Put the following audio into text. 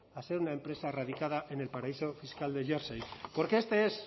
a ser una empresa radicada en el paraíso fiscal de jersey porque este es